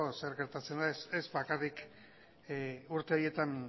zer gertatzen den ez bakarrik urte horietan